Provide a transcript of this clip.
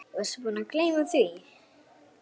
Varstu búinn að gleyma því?